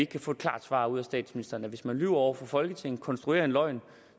kan få et klart svar ud af statsministeren det hvis man lyver over for folketinget konstruerer en løgn